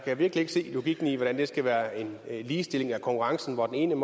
kan virkelig ikke se logikken i hvordan det skal være en ligestilling af konkurrencen når den ene